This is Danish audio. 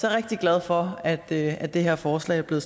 er rigtig glad for at at det her forslag er blevet